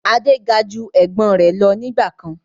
Adé ga ju Ẹ̀gbọ́n rẹ lọ nígbàkan